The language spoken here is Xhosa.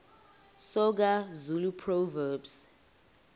soga zulu proverbs